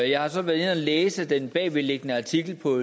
jeg har så været inde at læse den bagvedliggende artikel på